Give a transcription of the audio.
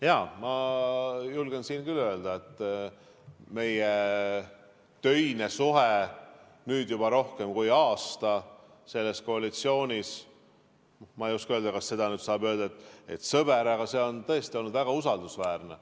Jaa, ma julgen siin küll öelda, et meie töine suhe nüüd juba rohkem kui aasta selles koalitsioonis – ma ei oska öelda, kas saab öelda, et ta on sõber – on tõesti olnud väga usaldusväärne.